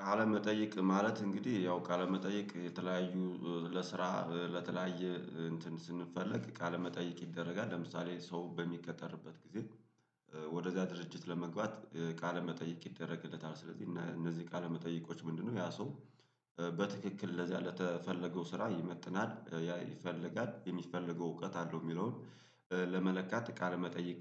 ቃለ መጠይቅ ማለት እንግዲህ ያው ቃለ መጠይቅ የተለያዩ ለስራ ለተለያየ እንትን ስንፈልግ ቃለመጠይቅ ይደረጋል ለምሳሌ ሰው በሚቀጠርበት ጊዜ ወደዛ ድርጅት ለመግባት ቃለ መጠይቅ ይደረግለታል። ስለዚህ እነዚህ ቃለ መጠይቆች ምንድነው? ያ ሰው በትክክል ለዚያ ለተፈለገው ስራ ይመጥናል ያ ይፈልጋል የሚፈልገው እውቀት አለው የሚለውን ለመለካት ቃለመጠይቅ